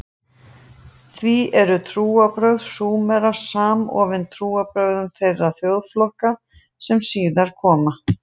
Því eru trúarbrögð Súmera samofin trúarbrögðum þeirra þjóðflokka sem síðar koma.